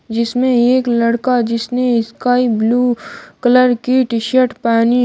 जिसमें एक लड़का जिसने स्काई ब्लू कलर की टी शर्ट पहनी--